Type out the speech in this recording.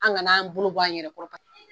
An kana n'an bolo bɔ an yɛrɛ kɔrɔ ka